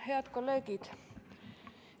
Head kolleegid!